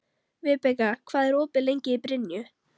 Vibeka, hvað er opið lengi í Brynju?